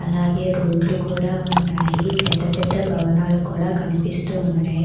అలాగే రోడ్లు కూడా ఉన్నాయి పెద్ద పెద్ద భవనాలు కూడా కనిపిస్తూ ఉన్నాయి.